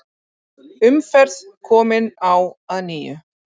Umferð komin á að nýju